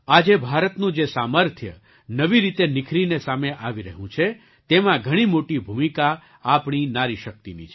આજે ભારતનું જે સામર્થ્ય નવી રીતે નિખરીને સામે આવી રહ્યું છે તેમાં ઘણી મોટી ભૂમિકા આપણી નારી શક્તિની છે